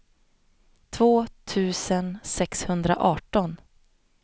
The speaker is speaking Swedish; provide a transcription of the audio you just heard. två tusen sexhundraarton